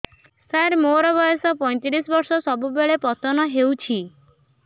ସାର ମୋର ବୟସ ପୈତିରିଶ ବର୍ଷ ସବୁବେଳେ ପତନ ହେଉଛି